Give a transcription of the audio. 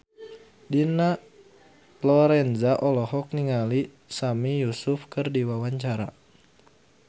Dina Lorenza olohok ningali Sami Yusuf keur diwawancara